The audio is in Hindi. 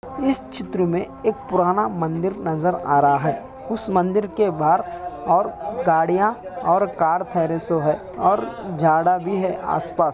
इस चित्र मे एक पुराना मंदिर नजर आ रहा है ऊस मंदिर के बाहर और गाड़िया और कार ठहरे सो है और झाड़ा भी है आस पास ।